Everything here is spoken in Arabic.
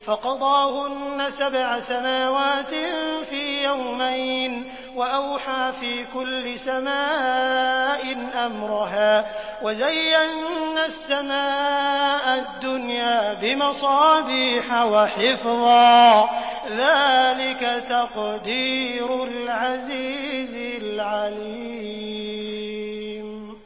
فَقَضَاهُنَّ سَبْعَ سَمَاوَاتٍ فِي يَوْمَيْنِ وَأَوْحَىٰ فِي كُلِّ سَمَاءٍ أَمْرَهَا ۚ وَزَيَّنَّا السَّمَاءَ الدُّنْيَا بِمَصَابِيحَ وَحِفْظًا ۚ ذَٰلِكَ تَقْدِيرُ الْعَزِيزِ الْعَلِيمِ